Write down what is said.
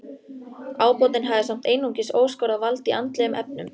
Ábótinn hafði samt einungis óskorað vald í andlegum efnum.